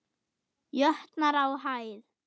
jötnar á hæð.